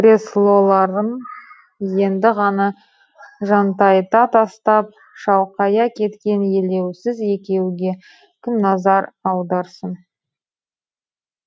креслоларын енді ғана жантайта тастап шалқая кеткен елеусіз екеуге кім назар аударсын